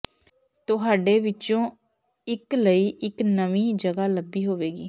ਤੁਹਾਡੇ ਵਿੱਚੋਂ ਇੱਕ ਲਈ ਇੱਕ ਨਵੀਂ ਜਗ੍ਹਾ ਲੱਭੀ ਹੋਵੇਗੀ